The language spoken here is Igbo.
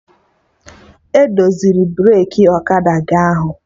Edoziri breki ọkada gị ụnyaahụ?